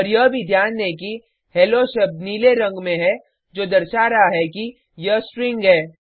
और यह भी ध्यान दें कि हेलो शब्द नीले रंग में है जो दर्शा रहा है कि यह स्ट्रिंग है